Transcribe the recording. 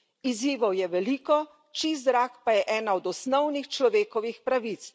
Izzivov je veliko, čist zrak pa je ena od osnovnih človekovih pravic.